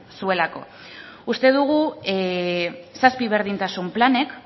zuelako uste dugu zazpi berdintasun planek